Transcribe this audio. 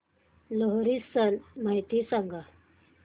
लोहरी सण माहिती सांगा